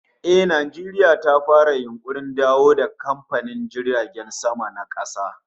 Eh, Najeriya ta fara yunkurin dawo da kamfanin jiragen sama na kasa